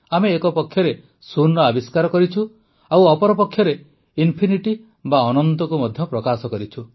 ଆମେ ଏକ ପକ୍ଷରେ ଶୂନର ଆବିଷ୍କାର କରିଛୁ ତ ଅପରପକ୍ଷରେ ଇନଫିନିଟି ବା ଅନନ୍ତକୁ ମଧ୍ୟ ପ୍ରକାଶ କରିଛୁ